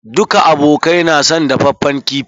Duka abokai na son dafaffen kifi.